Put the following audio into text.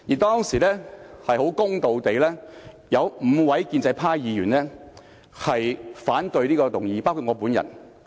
當時，很公道地，有5位建制派議員，包括我本人，反對這項議案。